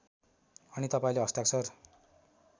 अनि तपाईँले हस्ताक्षर